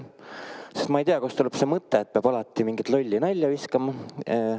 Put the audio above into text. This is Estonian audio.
Sest ma ei tea, kust tuleb see mõte, et peab alati mingit lolli nalja viskama.